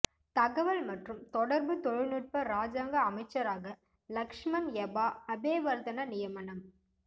தகவல் மற்றும் தொடர்பு தொழில்நுட்ப இராஜாங்க அமைச்சராக லக்ஷ்மன் யபா அபேவர்தன நியமனம்